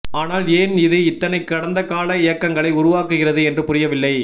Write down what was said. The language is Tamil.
ஆனால் ஏன் இது இத்தனை கடந்தகால ஏக்கங்களை உருவாக்குகிறது என்று புரியவில்லை